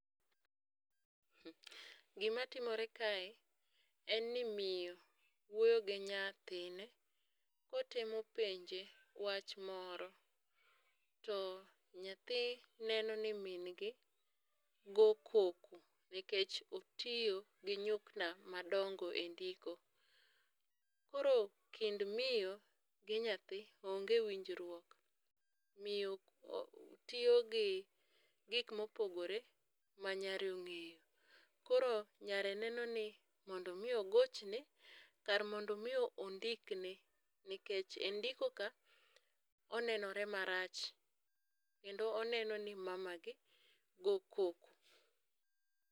Gimatimore kae, en ni miyo wuoyo gi nyathine kotemo penje wach moro, to nyathi neno ni min gi go koko nikech otiyo gi nyukta madongo endiko. Koro kind miyo gi nyathi onge winjruok, miyo tiyo gi gik mopogre manyare ong'eyo. Koro nyare neno ni mondo mii ogochne kar mondo mi ondikne, nikech endiko ka, onenore marach kendo oneno ni mamagi go koko.